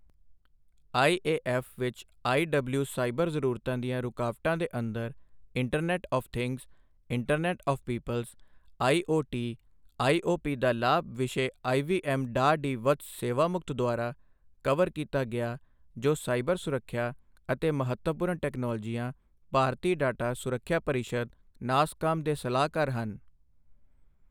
IAF ਵਿੱਚ IW cyber ਜ਼ਰੂਰਤਾਂ ਦੀਆਂ ਰੁਕਾਵਟਾਂ ਦੇ ਅੰਦਰ internet of things internet of peoples IoT IoP ਦਾ ਲਾਭ ਵਿਸ਼ੇ ਆਈਵੀਐੱਮ ਡਾਕਟਰ ਡੀ ਵਤਸ ਸੇਵਾਮੁਕਤ ਦੁਆਰਾ ਕਵਰ ਕੀਤਾ ਗਿਆ ਜੋ ਸਾਈਬਰ ਸੁਰੱਖਿਆ ਅਤੇ ਮਹੱਤਵਪੂਰਨ ਟੈਕਨੋਲੋਜੀਆਂ, ਭਾਰਤੀ ਡਾਟਾ ਸੁਰੱਖਿਆ ਪਰਿਸ਼ਦ, ਨਾਸਕਾਮ ਦੇ ਸਲਾਹਕਾਰ ਹਨ।